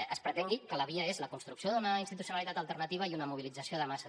es pretengui que la via és la construcció d’una institucionalitat alternativa i una mobilització de masses